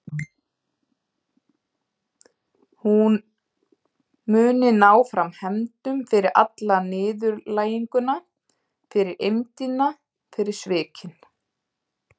Hún muni ná fram hefndum fyrir alla niðurlæginguna, fyrir eymdina, fyrir svikin.